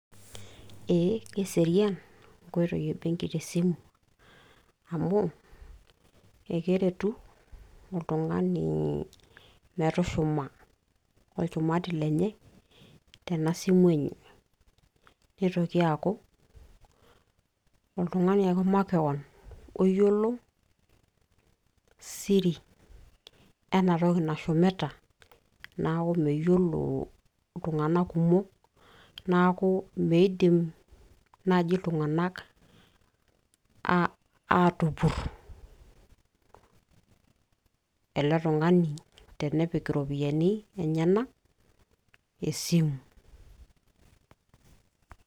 ee keserian inkoitoi ebenki te simu, amu ekeretu oltungani, metushuma olchumati lenye tena simu enye. nitoki aaku oltungani ake makewon oyiolo siri nashumita tena simu. neeku meyiolo iltunganak kumokk, neeku miidim naaji iltunganak aatupur, ele tungani tenepik iropiyiani enyenak esimu.